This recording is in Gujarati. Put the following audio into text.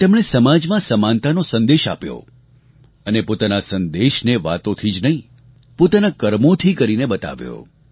તેમણે સમાજમાં સમાનતાનો સંદેશ આપ્યો અને પોતાના આ સંદેશને વાતોથી જ નહીં પોતાનાં કર્મોથી કરીને બતાવ્યો